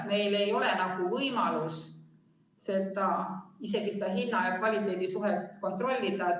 Meil ei ole võimalust isegi hinna ja kvaliteedi suhet kontrollida.